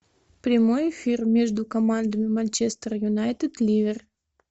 прямой эфир между командами манчестер юнайтед ливер